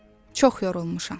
Çox yorulmuşam.